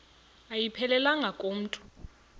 ayiphelelanga ku mntu